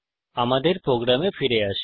আমাদের প্রোগ্রামে ফিরে আসি